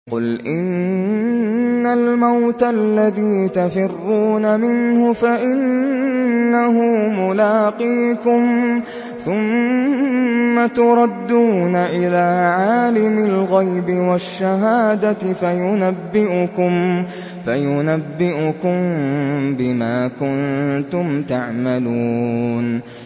قُلْ إِنَّ الْمَوْتَ الَّذِي تَفِرُّونَ مِنْهُ فَإِنَّهُ مُلَاقِيكُمْ ۖ ثُمَّ تُرَدُّونَ إِلَىٰ عَالِمِ الْغَيْبِ وَالشَّهَادَةِ فَيُنَبِّئُكُم بِمَا كُنتُمْ تَعْمَلُونَ